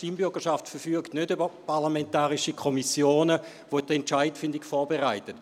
die Stimmbürgerschaft verfügt nicht über parlamentarische Kommissionen, welche die Entscheidungsfindung vorbereiten.